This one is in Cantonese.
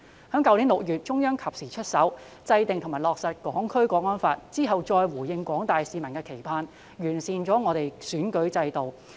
去年6月，中央及時出手制定及落實《香港國安法》，之後再完善選舉制度以回應廣大市民的期盼。